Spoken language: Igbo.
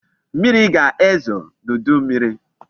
Mmiri ga-ezo n'udu mmiri